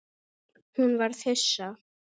Hún varð hissa.